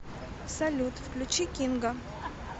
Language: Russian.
салют включи кинга